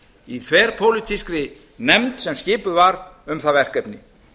í þverpólitískri nefnd sem skipuð var um það verkefni